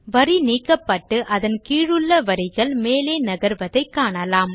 வரி நீக்கப்பட்டு அதன் கீழுள்ள வரிகள் மேலே நகர்வதை காணலாம்